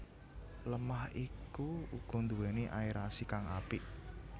Lemah iku uga nduwéni aerasi kang apik